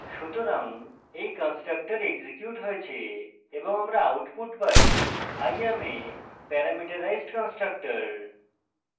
সুতরাং এই constructor execute হয়েছে এবং আমরা output পাই i am a parameterized constructor